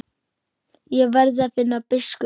Ég verð að finna biskup!